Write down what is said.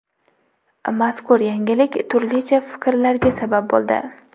Mazkur yangilik turlicha fikrlarga sabab bo‘ldi.